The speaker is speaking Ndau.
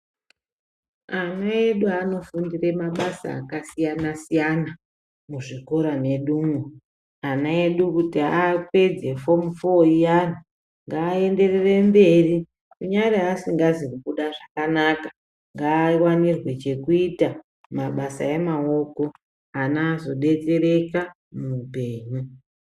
Ana edu anofundira mabasa akasiyana siyana muzvikora medu umu. Ana edu kuti apedze fomu foo yavo ngaaendere mberi kunyangwe asina kubuda zvakanaka ngaawanirwe chekuita mabasa emaoko ana azodetsereka muupenyu.